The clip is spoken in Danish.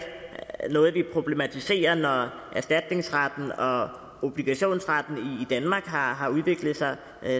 noget vi problematiserer når erstatningsretten og obligationsretten i danmark har har udviklet sig